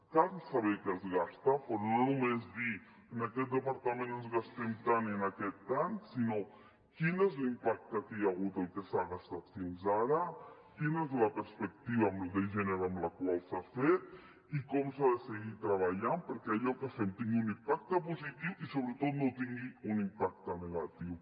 cal saber què es gasta però no només dir en aquest departament ens gastem tant i en aquest tant sinó quin és l’impacte que hi ha hagut del que s’ha gastat fins ara quina és la perspectiva de gènere amb el qual s’ha fet i com s’ha de seguir treballant perquè allò que fem tingui un impacte positiu i sobretot no tingui un impacte negatiu